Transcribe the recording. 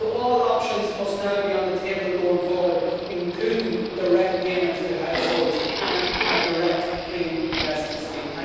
So all options must now be on the table going forward, including direct payments to households and a direct Green Investment Scheme.